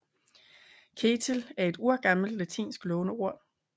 Ketill er et urgammelt latinsk låneord